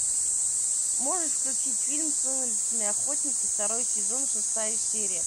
можешь включить фильм сумеречные охотники второй сезон шестая серия